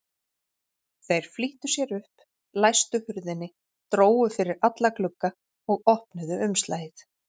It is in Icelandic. Þeir flýttu sér upp, læstu hurðinni, drógu fyrir alla glugga og opnuðu umslagið.